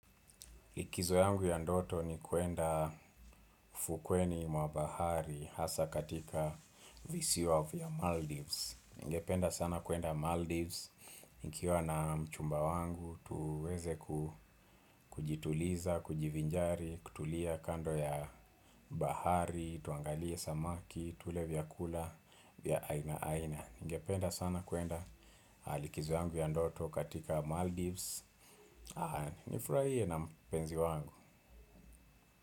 Likizo yangu ya ndoto ni kwenda fukweni mwa bahari hasa katika visiwa vya Maldives ningependa sana kwenda Maldives. Nikiwa na mchumba wangu tuweze kujituliza, kujivinjari, kutulia kando ya bahari, tuangalie samaki, tule vyakula vya aina aina ningependa sana kwenda likizo yangu ya ndoto katika Maldives. Nifurahie na mpenzi wangu.